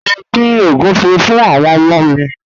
Mo ń din ogunfé̀ fún àwọn ọmọ mi.